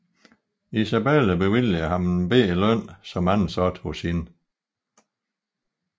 Isabella bevilligede ham en lille løn som ansat hos hende